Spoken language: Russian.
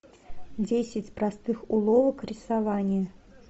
десять простых уловок рисования